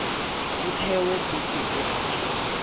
ho thehwe puso e ntjha